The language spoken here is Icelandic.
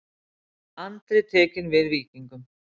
Andri tekinn við Víkingum